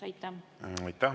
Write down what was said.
Aitäh!